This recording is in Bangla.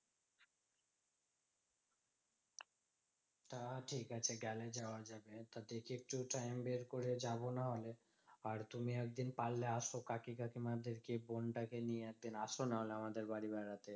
তা ঠিকাছে গেলে যাওয়া যাবে তো দেখে একটু time বের করে যাবো নাহলে। আর তুমি একদিন পারলে আসো কাকু কাকিমাদেরকে বোনটা কে নিয়ে একদিন আসো নাহলে আমাদের বাড়ি বেড়াতে।